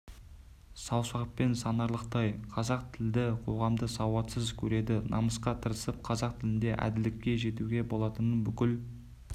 саусақпен санарлықтай қазақ тілді қоғамды сауатсыз көреді намысқа тырысып қазақ тілінде әділдікке жетуге болатынын бүкіл